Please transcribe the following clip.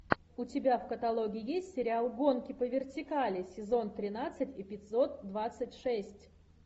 у тебя в каталоге есть сериал гонки по вертикали сезон тринадцать эпизод двадцать шесть